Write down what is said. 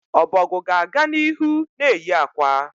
Ọbọgwụ ga-aga n'ihu na-eyi akwa